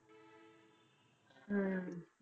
ਹਮ